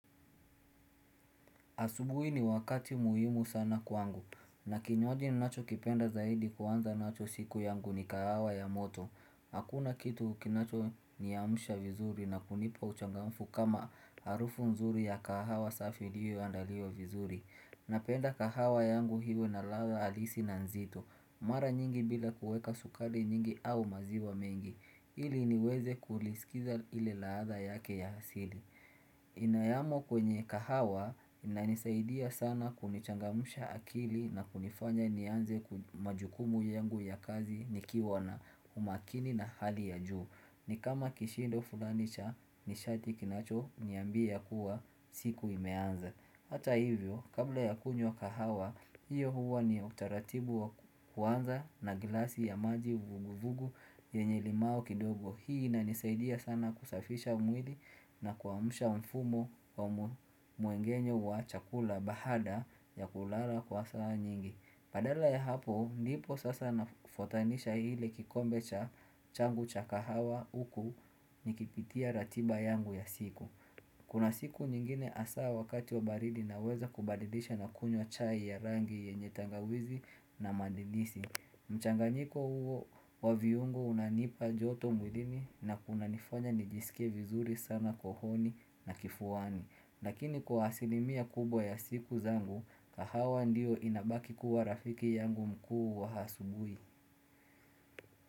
Asubuhi ni wakati muhimu sana kwangu, na kinywaji ni nacho kipenda zaidi kuwanza nacho siku yangu ni kahawa ya moto. Hakuna kitu kinachoni amsha vizuri na kunipa uchangamfu kama harufu nzuri ya kahawa safi liyo andalia vizuri. Napenda kahawa yangu hiwe na lada halisi na nzito. Mara nyingi bila kuweka sukari nyingi au maziwa mengi. Hili niweze kulisikiza ile laada yake ya hasili. Inayamo kwenye kahawa inanisaidia sana kunichangamsha akili na kunifanya nianze kumajukumu yengu ya kazi nikiwana umakini na hali ya juu Nikama kishindo fulanisha nishati kinacho niambia kuwa siku imeanza Hata hivyo kabla ya kunywa kahawa hiyo huwa ni utaratibu wa kuanza na glasi ya maji vugu vugu ye nyelimau kidogo Hii inanisaidia sana kusafisha mwili na kuamusha mfumo wa muengenyo wa chakula bahada ya kulala kwa saa nyingi Padala ya hapo, nipo sasa nafotanisha hile kikombe cha changu cha kahawa uku nikipitia ratiba yangu ya siku Kuna siku nyingine asa wakati wa baridi na weza kubadidisha na kunywa chai ya rangi ye nyetangawizi na mandidisi mchanganyiko huo wa viungo unanipa joto mwilini na kuna nifanya nijisike vizuri sana kohoni na kifuani Lakini kwa hasilimia kubwa ya siku zangu kahawa ndiyo inabaki kuwa rafiki yangu mkuu wa hasubui.